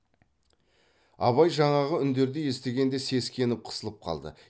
абай жаңағы үндерді естігенде сескеніп қысылып қалды